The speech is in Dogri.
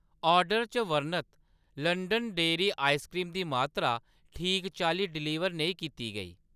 आर्डर च बर्णत लंदन डेह्‌री आइसक्रीम दी मात्तरा ठीक चाल्ली डलीवर नेईं कीती गेई